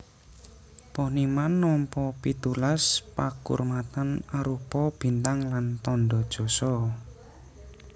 Poniman nampa pitulas pakurmatan arupa bintang lan tandha jasa